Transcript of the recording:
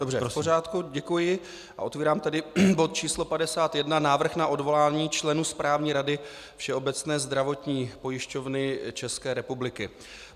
Dobře, v pořádku, děkuji a otevírám tedy bod číslo 51, Návrh na odvolání členů Správní rady Všeobecné zdravotní pojišťovny České republiky.